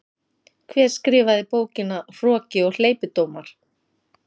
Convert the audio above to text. Hver skrifaði bókina Hroki og hleypidómar?